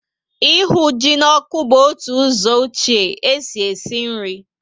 Ịhụ ji na ọkụ bu otu ụzọ ọchie e si esi nri